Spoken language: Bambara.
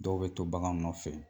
Dɔw bɛ to baganw nɔfɛ